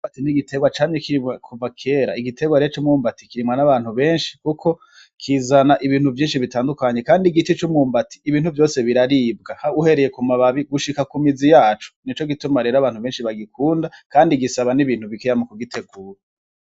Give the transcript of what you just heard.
Imyumbati n'igiterwa camye kirimwa kuva kera, igiterwa rero c'umwumbati kirimwa n'abantu benshi kuko rero kizana ibintu vyinshi bitandukanye kandi igice c'umwumbati biraribwa uhereye ku mababi gushika ku mizi yaco nico gituma abantu benshi bagikunda kandi gisaba n'ibintu bikeya kugitegura.